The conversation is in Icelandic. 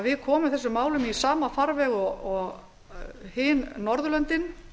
við komum þessum málum í sama farveg og annars staðar á norðurlöndum